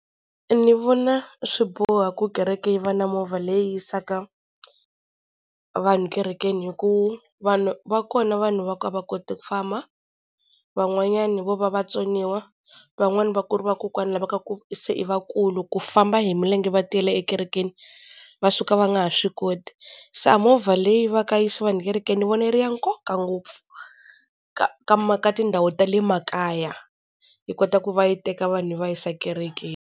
Ni vona swi boho ku kereke yi va na movha leyi yisaka vanhu kerekeni, hi ku vanhu va kona vanhu va ku a va koti ku famba. Van'wanyana vo va vatsoniwa, van'wani va ku ri vakokwani lava ka ku se i vakulu, ku famba hi milenge va tiyela ekerekeni va suka va nga ha swi koti, se a movha leyi va ka yi yisa vanhu ekerekeni ni vona yi ri ya nkoka ngopfu ka ka ka tindhawu ta le makaya yi kota ku va yi teka vanhu yi va yisa kerekeni.